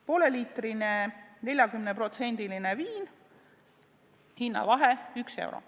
Pool liitrit 40%-list viina: hinnavahe 1 euro.